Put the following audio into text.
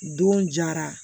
Don jara